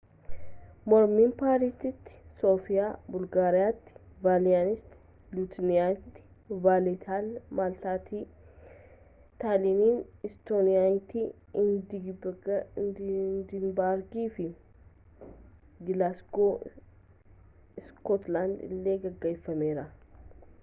mormiin paarisitti soofiyaa bulgaariyaatti vilniyas liituuniyaatti vaaleettaa maltaatti taaliin istooniyaatti eedinbargii fi gilaasgoow iskootlaanditti illee gaggeeffameera